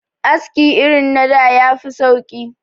Aski irin na da ya fi sauki